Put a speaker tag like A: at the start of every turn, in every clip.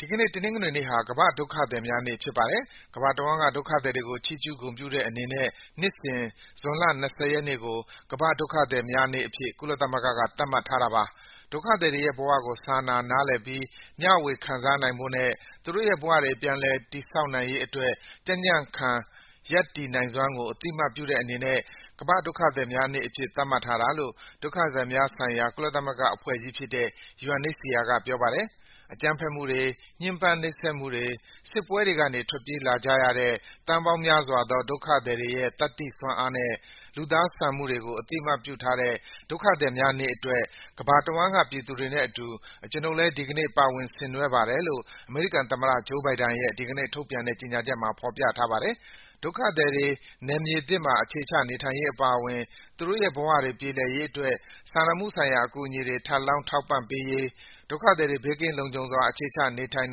A: ဒီကနေ့ တနင်္ဂနွေနေ့ဟာ ကမ္ဘာ့ဒုက္ခသည်များနေ့ ဖြစ်ပါတယ်။ ကမ္ဘာတဝန်းက ဒုက္ခသည်တွေကို ချီးကျူးဂုဏ်ပြုတဲ့အနေနဲ့ နှစ်စဉ် ဇွန်လ ၂၀ ရက်နေ့ကို ကမ္ဘာ့ဒုက္ခသည်များနေ့အဖြစ် ကုလသမဂ္ဂက သတ်မှတ်ထားတာပါ။ ဒုက္ခသည်တွေရဲ့ဘဝကို စာနာနားလည်ပြီး မျှဝေခံစားနိုင်ဖို့နဲ့ သူတို့ရဲ့ဘဝတွေ ပြန်လည် တည်ဆောက်နိုင်ရေးအတွက် ကြံ့ကြံ့ခံ ရပ်တည်နိုင်စွမ်းကို အသိအမှတ်ပြုတဲ့အနေနဲ့ ကမ္ဘာ့ဒုက္ခသည်များနေ့အဖြစ် သတ်မှတ်ထားတာလို့ ဒုက္ခသည်များဆိုင်ရာ ကုလသမဂ္ဂအဖွဲ့ကြီးဖြစ်တဲ့ UNHCR က ပြောပါတယ်။ “အကြမ်းဖက်မှုတွေ၊ ညှဉ်းပန်းနှိပ်စက်မှုတွေ၊ စစ်ပွဲတွေကနေ ထွက်ပြေးလာကြရတဲ့ သန်းပေါင်းများစွာသော ဒုက္ခသည်တွေရဲ့ သတ္တိစွမ်းအားနဲ့ လူသားဆန်မှုတွေကို အသိအမှတ်ပြုထားတဲ့ ဒုက္ခသည်များနေ့အတွက် ကမ္ဘာတဝန်းက ပြည်သူတွေနဲ့အတူ ကျွနု်ပ်လည်း ဒီကနေ့ ပါဝင်ဆင်နွှဲပါတယ်” လို့ အမေရိကန်သမ္မတ Joe Biden ရဲ့ ဒီကနေ့ထုတ်ပြန်တဲ့ ကြေညာချက်မှာ ဖော်ပြထားပါတယ်။ ဒုက္ခသည်တွေ နယ်မြေသစ်မှာ အခြေချနေထိုင်ရေး အပါအဝင် သူတို့ရဲ့ဘဝတွေ ပြေလည်ရေးအတွက် စာနာမှုဆိုင်ရာ အကူအညီတွေ ထပ်လောင်း ထောက်ပံ့ပေးရေး၊ ဒုက္ခသည်တွေ ဘေးကင်းလုံခြုံစွာ အခြေချ နေထိုင်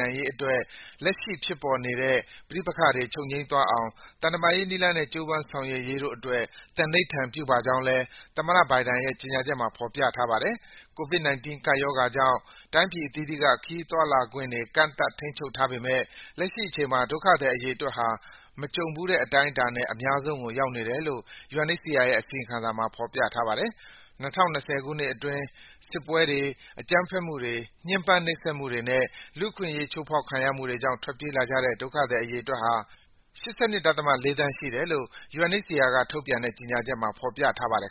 A: နိုင်ရေးအတွက် လက်ရှိဖြစ်ပေါ်နေတဲ့ ပဋိပက္ခတွေ ချုပ်ငြိမ်းသွားအောင် သံတမန်ရေးနည်းလမ်းနဲ့ ကြိုးပမ်းဆောင်ရွက်ရေးတို့အတွက် သန္နိဋ္ဌာန်ပြုပါကြောင်းလည်း သမ္မတ Biden ရဲ့ ကြေညာချက်မှာ ဖော်ပြထားပါတယ်။ COVID-19 ကပ်ရောဂါကြောင့် တိုင်းပြည်အသီးသီးက ခရီးသွားလာခွင့်တွေ ကန့်သတ် ထိန်းချုပ်ထားပေမယ့် လက်ရှိအချိန်မှာ ဒုက္ခသည်အရေအတွက်ဟာ မကြုံဘူးတဲ့ အတိုင်းအတာနဲ့ အများဆုံးကို ရောက်နေတယ်လို့ UNHCR ရဲ့ အစီရင်ခံစာမှာ ဖော်ပြထားပါတယ်။ ၂၀၂၀ ခုနှစ်အတွင်း စစ်ပွဲတွေ၊ အကြမ်းဖက်မှုတွေ၊ ညှဉ်းပန်းနှိပ်စက်မှုတွေနဲ့ လူ့အခွင့်အရေး ချိုးဖောက်ခံရမှုတွေကြောင့် ထွက်ပြေးလာကြတဲ့ ဒုက္ခသည် အရေအတွက်ဟာ ၈၂.၄ သန်း ရှိတယ်လို့ UNHCR က ထုတ်ပြန်တဲ့ ကြေညာချက်မှာ ဖော်ပြထားပါတယ်